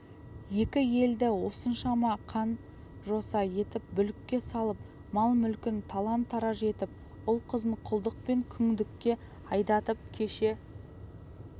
екі елді осыншама қан-жоса етіп бүлікке салып мал-мүлкін талан-тараж етіп ұл-қызын құлдық пен күңдікке айдатып кеше